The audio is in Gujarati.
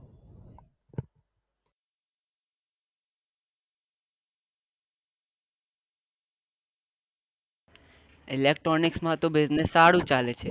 Electronic તો business સારું ચાલે છે.